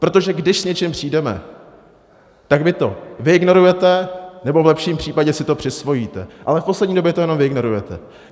Protože když s něčím přijdeme, tak vy to vyignorujete nebo v lepším případě si to přisvojíte, ale v poslední době to jenom vyignorujete.